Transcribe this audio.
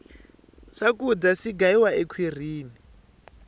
swakudya si gayiwa ekhwirini